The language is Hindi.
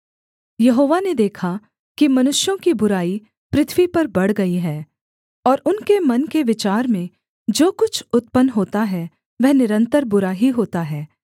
यहोवा ने देखा कि मनुष्यों की बुराई पृथ्वी पर बढ़ गई है और उनके मन के विचार में जो कुछ उत्पन्न होता है वह निरन्तर बुरा ही होता है